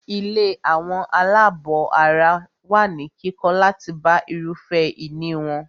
Ilé àwọn àlábọ̀ ara wà ní kíkọ́ láti bá irúfẹ́ ìní wọn.